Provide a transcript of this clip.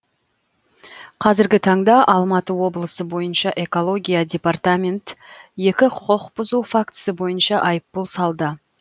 қазіргі таңда алматы облысы бойынша экология департамент екі құқық бұзу фактісі бойынша айыппұл салды